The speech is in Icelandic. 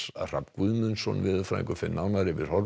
Hrafn Guðmundsson veðurfræðingur fer nánar yfir